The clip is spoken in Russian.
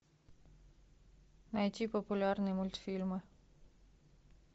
найти популярные мультфильмы